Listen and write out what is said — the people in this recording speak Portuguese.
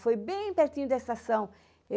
Foi bem pertinho da estação.